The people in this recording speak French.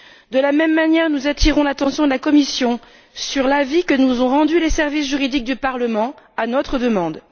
De la même manière, nous attirons l'attention de la Commission sur l'avis que nous ont rendu les services juridiques du Parlement à notre demande.